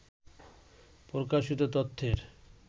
প্রকাশিত তথ্যের